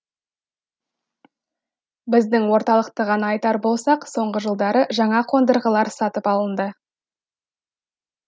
біздің орталықты ғана айтар болсақ соңғы жылдары жаңа қондырғылар сатып алынды